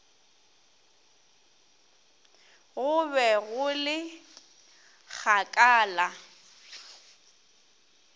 go be go le kgakala